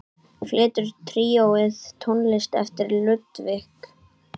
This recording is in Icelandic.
Flytur tríóið tónlist eftir Ludvig.